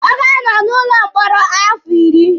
Ọ ga-anọ n'ụlọ mkpọrọ afọ iri.